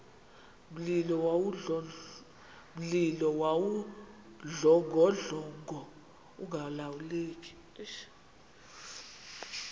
mlilo wawudlongodlongo ungalawuleki